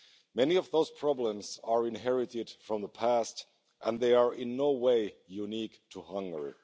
Many of those problems are inherited from the past, and they are in no way unique to Hungary.